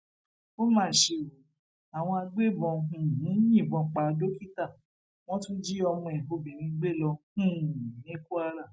ó mà ṣe o àwọn agbébọn um yìnbọn pa dókítà wọn tún jí ọmọ ẹ obìnrin gbé lọ um ní kwara